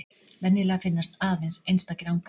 Venjulega finnast aðeins einstakir angar.